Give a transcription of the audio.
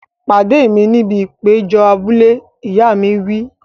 Pàdé mi níbi ìpéjọ abúlé! Ìyá mi wí.